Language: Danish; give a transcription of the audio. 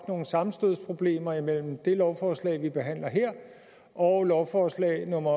nogle sammenstødsproblemer imellem det lovforslag vi behandler her og lovforslag nummer